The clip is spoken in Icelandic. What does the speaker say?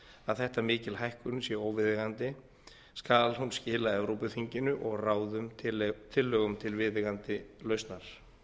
að þetta mikil hækkun sé óviðeigandi skal hún skila evrópuþinginu og ráðinu tillögum til viðeigandi lausnar